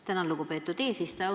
Tänan, lugupeetud eesistuja!